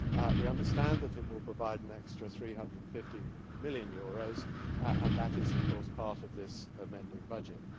We understand that it will provide an extra EUR 350 million, and that is of course part of this amending budget.